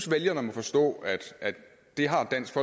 vælgerne må forstå at det har dansk